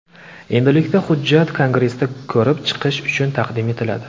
Endilikda hujjat Kongressga ko‘rib chiqish uchun taqdim etiladi.